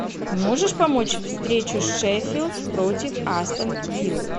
можешь помочь встречу шеффилд против астон виллы